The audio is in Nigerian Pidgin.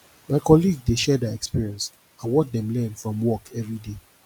my colleague dey share their experience and what dem learn from work every day